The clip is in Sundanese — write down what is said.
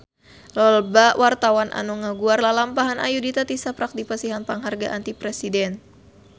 Loba wartawan anu ngaguar lalampahan Ayudhita tisaprak dipasihan panghargaan ti Presiden